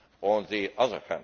on the other.